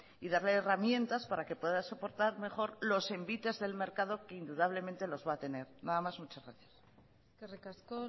y darle herramientas para que pueda soportar mejor los envites del mercado que indudablemente los va a tener nada más muchas gracias eskerrik asko